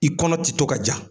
I kɔnɔ ti to ka ja.